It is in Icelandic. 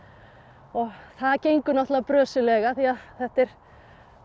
og það gengur náttúrulega brösuglega því þetta er á